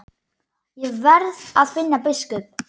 Ég verð að finna biskup!